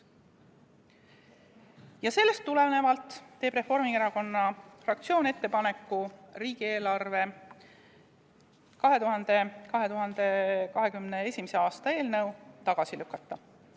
Ja sellest tulenevalt teeb Reformierakonna fraktsioon ettepaneku 2021. aasta riigieelarve seaduse eelnõu tagasi lükata.